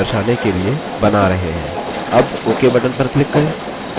अब ok button पर click करें